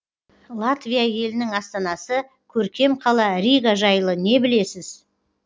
латвия елінің астанасы көркем қала рига жайлы не білесіз